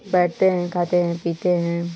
बेठते है। खाते है। पीते है।